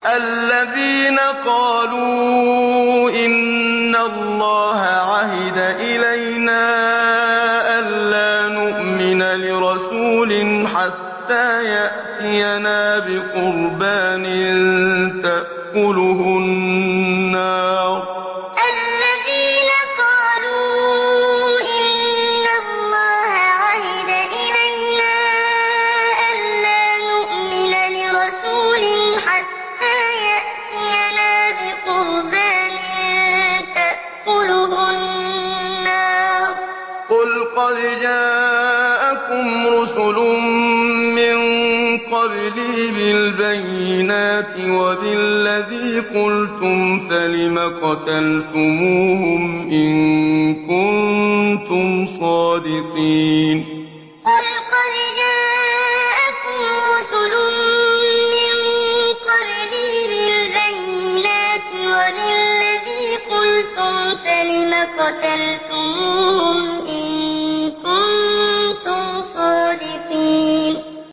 الَّذِينَ قَالُوا إِنَّ اللَّهَ عَهِدَ إِلَيْنَا أَلَّا نُؤْمِنَ لِرَسُولٍ حَتَّىٰ يَأْتِيَنَا بِقُرْبَانٍ تَأْكُلُهُ النَّارُ ۗ قُلْ قَدْ جَاءَكُمْ رُسُلٌ مِّن قَبْلِي بِالْبَيِّنَاتِ وَبِالَّذِي قُلْتُمْ فَلِمَ قَتَلْتُمُوهُمْ إِن كُنتُمْ صَادِقِينَ الَّذِينَ قَالُوا إِنَّ اللَّهَ عَهِدَ إِلَيْنَا أَلَّا نُؤْمِنَ لِرَسُولٍ حَتَّىٰ يَأْتِيَنَا بِقُرْبَانٍ تَأْكُلُهُ النَّارُ ۗ قُلْ قَدْ جَاءَكُمْ رُسُلٌ مِّن قَبْلِي بِالْبَيِّنَاتِ وَبِالَّذِي قُلْتُمْ فَلِمَ قَتَلْتُمُوهُمْ إِن كُنتُمْ صَادِقِينَ